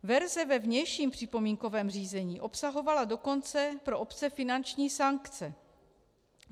Verze ve vnějším připomínkovém řízení obsahovala dokonce pro obce finanční sankce.